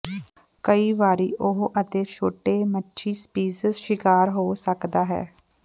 ਕਈ ਵਾਰੀ ਉਹ ਅਤੇ ਛੋਟੇ ਮੱਛੀ ਸਪੀਸੀਜ਼ ਸ਼ਿਕਾਰ ਹੋ ਸਕਦਾ ਹੈ